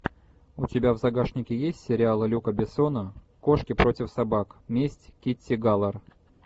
у тебя в загашнике есть сериалы люка бессона кошки против собак месть китти галор